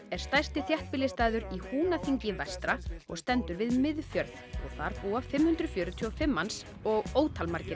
er stærsti þéttbýlisstaður í Húnaþingi vestra og stendur við Miðfjörð þar búa fimm hundruð fjörutíu og fimm manns og ótal margir